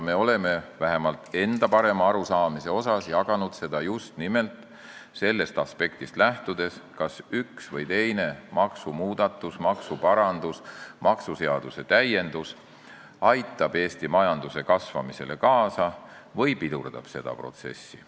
Me oleme vähemalt enda parema arusaamise järgi jaganud seda just nimelt sellest aspektist lähtudes, kas üks või teine maksumuudatus, maksuparandus või maksuseaduse täiendus aitab Eesti majanduse kasvamisele kaasa või pidurdab seda protsessi.